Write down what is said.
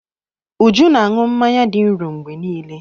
Uju ná-aṅụ mmanya dị nro mgbe niile.